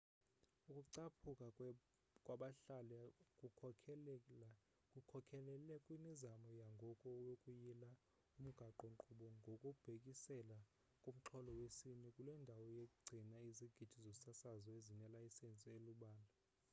ukucaphuka kwabahlali kukhokelele kwimizamo yangoku yokuyila umgaqo-nkqubo ngokubhekisele kumxholo wesini kule ndawo igcina izigidi zosasazo ezinelayisensi elubala